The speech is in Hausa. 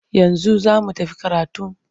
Yanzu za mu tafi karatun?